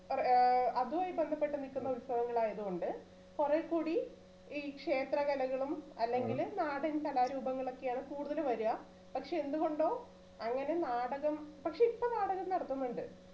ഏർ അതുമായി ബന്ധപ്പെട്ട് നിക്കുന്ന ഉത്സവങ്ങൾ ആയത്കൊണ്ട് കൊറേ കൂടി ഈ ക്ഷേത്രകലകളും അല്ലെങ്കില് നാടൻ കലാരൂപങ്ങളൊക്കെയാണ് കൂടുതൽ വരുക പക്ഷെ എന്തുകൊണ്ടോ അങ്ങനെ നാടകം പക്ഷെ ഇപ്പൊ നാടകം നടത്തുന്നുണ്ട്